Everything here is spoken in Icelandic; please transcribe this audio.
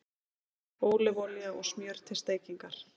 Ólífuolía og smjör til steikingar